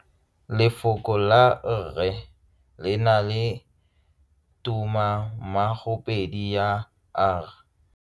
Lefoko la rre le na le tumammogopedi ya, r.